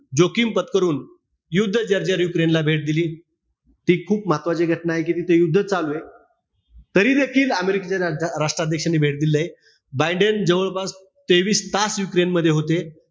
जोखीम पत्करून युद्ध जर्जर युक्रेनला भेट दिली. ती खूप महत्वाची घटनाय कि तिथे युद्ध चालूय. तरी देखील अमेरिकेचे रा राष्ट्राध्यक्ष यांनी भेट दिलेली आहे. बायडेन जवळपास तेवीस तास युक्रेन मध्ये होते.